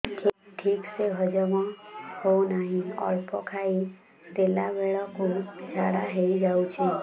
ଠିକସେ ସବୁ ହଜମ ହଉନାହିଁ ଅଳ୍ପ ଖାଇ ଦେଲା ବେଳ କୁ ଝାଡା ହେଇଯାଉଛି